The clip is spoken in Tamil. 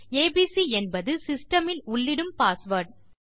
ஏபிசி என்பது சிஸ்டம் இல் உள்ளிடும் பாஸ்வேர்ட்